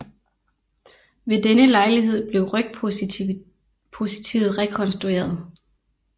Ved denne lejlighed blev rygpositivet rekonstrueret